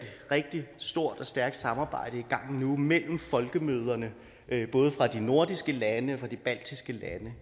rigtig stort og stærkt samarbejde i gang nu mellem folkemøderne både fra de nordiske landes og de baltiske landes